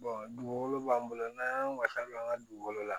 dugukolo b'an bolo n'an y'an wasa don an ka dugukolo la